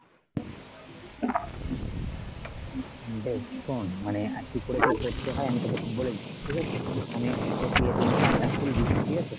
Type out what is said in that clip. বেশ শোন মানে আর কি করে কি করতে হয় আমি তোকে ঠিক বলে দিচ্ছি ঠিক আছে. প্রথমে তুই card টা খুলবি ঠিক আছে